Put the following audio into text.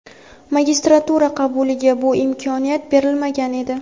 Magistratura qabuliga bu imkoniyat berilmagan edi.